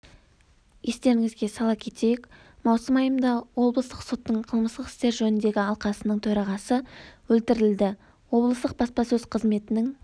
естеріңізге сала кетейік маусым айында облыстық соттың қылмыстық істер жөніндегі алқасының төрағасы өлтірілді облыстық баспасөз қызметінің